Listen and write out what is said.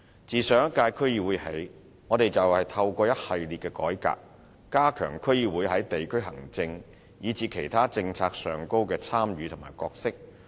自上一屆區議會起，我們便透過一系列改革，加強區議會在地區行政以至其他政策上的參與和角色。